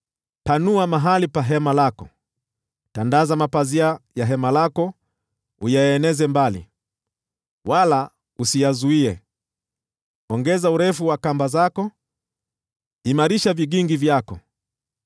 “Panua mahali pa hema lako, tandaza mapazia ya hema lako uyaeneze mbali, wala usiyazuie; ongeza urefu wa kamba zako, imarisha vigingi vyako.